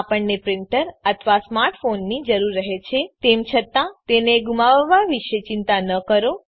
આપણને પ્રીન્ટર અથવા સ્માર્ટ ફોનની જરૂર રહે છે તેમ છતાં તેને ગુમાવવાં વિશે ચિંતા ન કરો